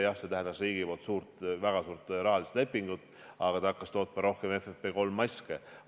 Jah, see tähendas riigi poolt rahas väga suurt lepingut, aga ta hakkas tootma rohkem FFP3 maske.